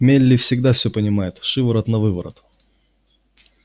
мелли всегда всё понимает шиворот-навыворот